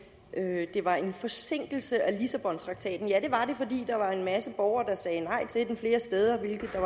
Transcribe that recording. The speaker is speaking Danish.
at det var en forsinkelse af lissabontraktaten ja det var det fordi der var en masse borgere der sagde nej til den flere steder hvilket der